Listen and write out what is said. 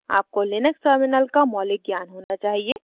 आपको Linux terminal का मौलिक ज्ञान होना चाहिए